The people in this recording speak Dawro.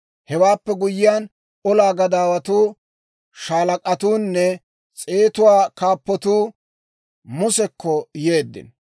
Hewaappe guyyiyaan, olaa gadaawatuu, shaalak'atuunne s'eetuwaa kaappatuu Musekko yeeddino.